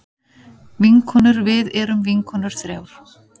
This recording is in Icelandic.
Vinkonurvið erum vinkonur þrjár.